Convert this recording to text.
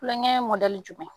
Kulonkɛ jumɛn?